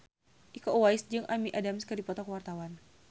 Iko Uwais jeung Amy Adams keur dipoto ku wartawan